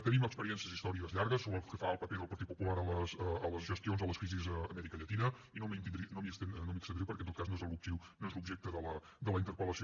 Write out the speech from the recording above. tenim experiències històriques llargues pel que fa al paper del partit popular a les gestions de les crisis a l’amèrica llatina i no m’hi estendré perquè en tot cas no és l’objecte de la interpel·lació